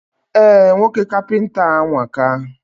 Eh, nwoke kapịnta a anwaka